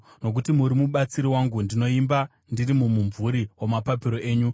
Nokuti muri mubatsiri wangu, ndinoimba ndiri mumumvuri wamapapiro enyu.